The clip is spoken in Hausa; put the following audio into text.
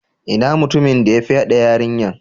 Inna mutumin da ya fyade yarinyan?